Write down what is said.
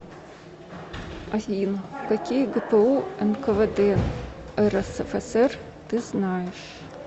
афина какие гпу нквд рсфср ты знаешь